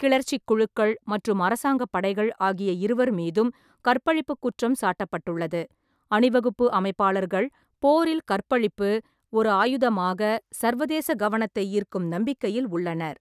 கிளர்ச்சிக் குழுக்கள் மற்றும் அரசாங்கப் படைகள் ஆகிய இருவர் மீதும் கற்பழிப்பு குற்றம் சாட்டப்பட்டுள்ளது, அணிவகுப்பு அமைப்பாளர்கள் போரில் கற்பழிப்பு ஒரு ஆயுதமாக சர்வதேச கவனத்தை ஈர்க்கும் நம்பிக்கையில் உள்ளனர்.